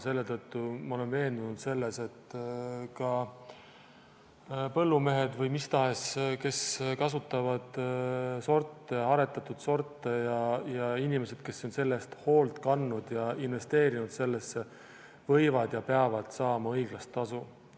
Seetõttu ma olen veendunud selles, et ka põllumehed või kes tahes, kes kasutavad sorte, aretatud sorte, ja inimesed, kes on selle eest hoolt kandnud ja investeerinud sellesse, võivad ja peavad saama õiglast tasu.